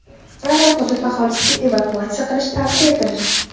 Ayrim hudud aholisiga evakuatsiya qilish tavsiya etilgan.